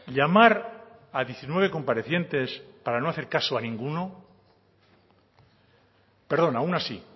llamar a diecinueve comparecientes para no hacer caso a ninguno perdón a una sí